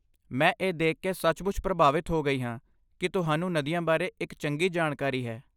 ਮੈਂ ਇਹ ਦੇਖ ਕੇ ਸੱਚਮੁੱਚ ਪ੍ਰਭਾਵਿਤ ਹੋ ਗਈ ਹਾਂ ਕਿ ਤੁਹਾਨੂੰ ਨਦੀਆਂ ਬਾਰੇ ਇੱਕ ਚੰਗੀ ਜਾਣਕਾਰੀ ਹੈ।